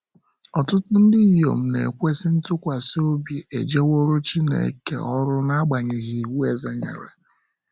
Ọtụtụ ndị inyom na - ekwesị ntụkwasị obi ejeworo Chineke oru n’agbanyeghị iwu eze nyere.